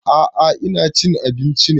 A'a ina cin abinci ne